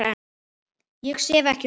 Ég sef ekki um nætur.